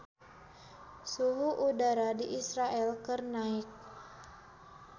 Suhu udara di Israel keur naek